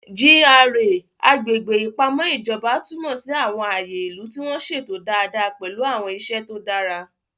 GRA (Agbègbè Ìpamọ́ Ìjọba) túmọ̀ sí àwọn ààyè ìlú tí wọ́n ṣètò dáadáa pẹ̀lú àwọn iṣẹ́ tó dára.